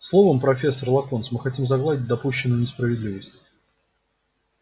словом профессор локонс мы хотим загладить допущенную несправедливость